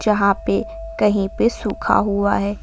जहां पे कहीं पे सुखा हुआ है।